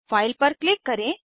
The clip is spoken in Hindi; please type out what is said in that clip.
फाइल पर क्लिक करें